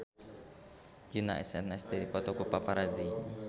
Yoona SNSD dipoto ku paparazi